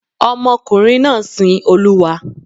Ọmọkùnrin náà sin Olúwa.